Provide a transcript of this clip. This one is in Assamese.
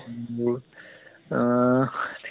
বোৰ আহ